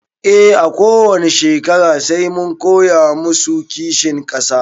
E a kowani shekara sai mun koya masu kishin ƙasa